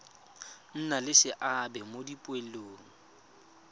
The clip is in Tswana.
nna le seabe mo dipoelong